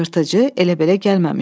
Yırtıcı elə belə gəlməmişdi.